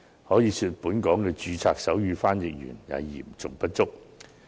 可以說，本港的註冊手語傳譯員嚴重不足。